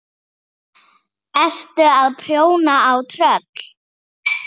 Ertu að prjóna á tröll?